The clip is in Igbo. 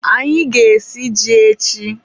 anyị ga-esi ji echi